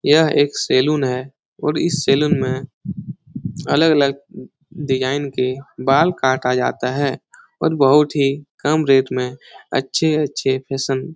ये एक सैलून है और इस सैलून में अलग-अलग डिज़ाइन के बाल काटा जाता है और बहुत ही कम रेट में अच्छे-अच्छे फेशन --